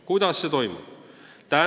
Kuidas see toimub?